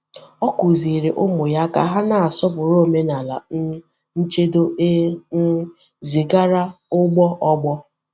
Ọ kụ̀zìrì ụmụ ya ka hà na-asọpụrụ omenala um nchedo e um zigara n’ụgbọ ọgbọ.